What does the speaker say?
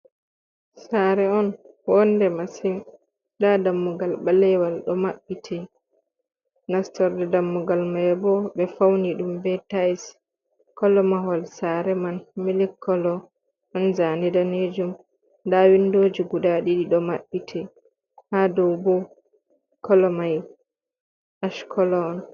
Sare on wonde masin nda dammugal ɓalewal ɗo maɓɓiti, nastorde dammugal may bo ɓe fauni ɗum be tayis, kolo mahol sare man milik kolo, ɗon zani danejum, nda windoji guda ɗiɗi ɗo maɓɓiti. Haa dow bo, kolo may ash kolo on.